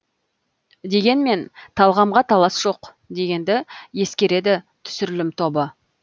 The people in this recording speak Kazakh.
дегенмен талғамға талас жоқ дегенді ескереді түсірілім тобы